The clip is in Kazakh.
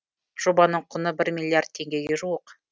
жобаның құны бір миллиард теңгеге жуық